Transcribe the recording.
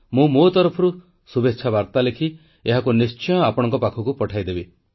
ମୁଁ ମୋ ତରଫରୁ ଶୁଭେଚ୍ଛା ବାର୍ତ୍ତା ଲେଖି ଏହାକୁ ନିଶ୍ଚୟ ଆପଣଙ୍କ ପାଖକୁ ପଠାଇଦେବି